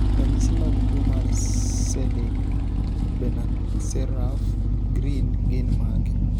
ranyisi mag tuo mar Selig Benacerraf Greene gin mage?